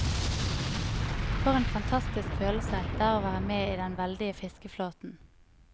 For en fantastisk følelse det er å være med i den veldige fiskeflåten.